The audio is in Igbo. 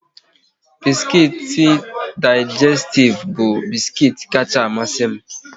Biskuit Digestif bu biskuit kacha amasi m